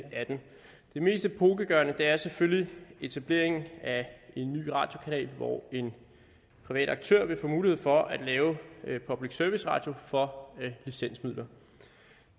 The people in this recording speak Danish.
det mest epokegørende er selvfølgelig etableringen af en ny radiokanal hvor en privat aktør vil få mulighed for at lave public service radio for licensmidler